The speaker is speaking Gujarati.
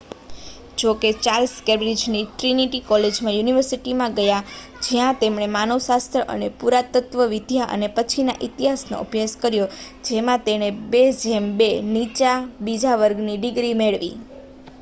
જો કે ચાર્લ્સ કેમ્બ્રિજની ટ્રિનિટી કોલેજમાં યુનિવર્સિટીમાં ગયા જ્યાં તેમણે માનવશાસ્ત્ર અને પુરાતત્ત્વવિદ્યા અને પછીના ઇતિહાસનો અભ્યાસ કર્યો જેમાં તેણે 2: 2 નીચા બીજા વર્ગની ડિગ્રી મેળવી